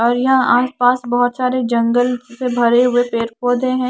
और यहां आस पास बहोत सारे जंगल से भरे हुए पेड़ पौधे हैं।